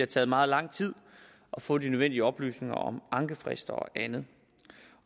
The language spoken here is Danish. taget meget lang tid at få de nødvendige oplysninger om ankefrister og andet